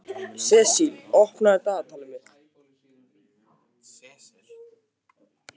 Sesil, opnaðu dagatalið mitt.